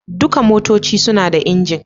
Dukan motoci suna da injin.